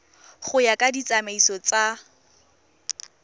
go ya ka ditsamaiso tsa